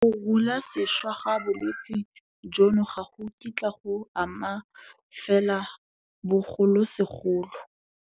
Go runyasešwa ga bolwetse jono ga go kitla go ama fela bogolosegolo.